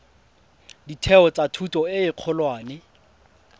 ditheo tsa thuto e kgolwane